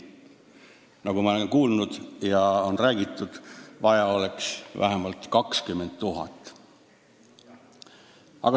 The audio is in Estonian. Nagu ma olen kuulnud ja on räägitud, vaja oleks vähemalt 20 000 sündi.